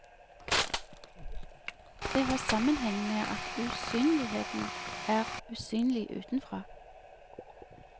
Det har sammenheng med at usynligheten er usynlig utenfra.